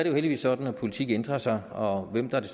jo heldigvis sådan at politik ændrer sig og hvem der er